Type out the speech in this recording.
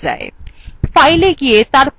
fileএ গিয়ে তারপর saveএ click করুন